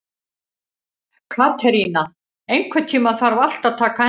Katerína, einhvern tímann þarf allt að taka enda.